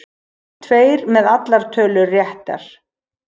Tveir með allar tölur réttar